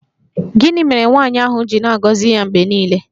Gịnị mere nwaanyị ahụ ji na-agọzi ya mgbe niile?